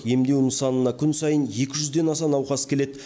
емдеу нысанына күн сайын екі жүзден аса науқас келеді